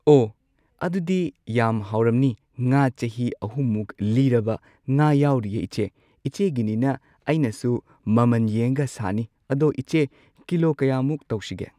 ꯑꯣ ꯑꯗꯨꯗꯤ ꯌꯥꯝ ꯍꯥꯎꯔꯝꯅꯤ ꯉꯥ ꯆꯍꯤ ꯑꯍꯨꯝꯃꯨꯛ ꯂꯤꯔꯕ ꯉꯥ ꯌꯥꯎꯔꯤꯌꯦ ꯏꯆꯦ ꯏꯆꯦꯒꯤꯅꯤꯅ ꯑꯩꯅꯁꯨ ꯃꯃꯟ ꯌꯦꯡꯉꯒ ꯁꯥꯅꯤ ꯑꯗꯣ ꯏꯆꯦ ꯀꯤꯂꯣ ꯀꯌꯥꯃꯨꯛ ꯇꯧꯁꯤꯒꯦ꯫